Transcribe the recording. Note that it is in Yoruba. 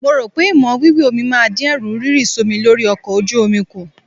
Mo rò pé ìmọ̀ omi wíwẹ̀ máa dín Ẹ̀rù rírì sómi lórí ọkọ ojú omi kù.